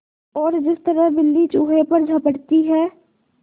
और जिस तरह बिल्ली चूहे पर झपटती है